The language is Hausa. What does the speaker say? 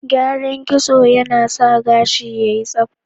Kyaran kitso yana sa gashi yayi tsabta